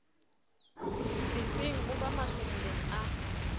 setseng o ba mahlomoleng a